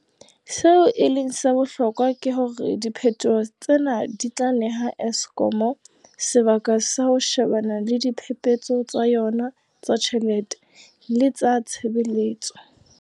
Seo e leng sa bohlokwa ke hore diphetoho tsena di tla neha Eskom sebaka sa ho she-bana le diphephetso tsa yona tsa ditjhelete le tsa tshebetso.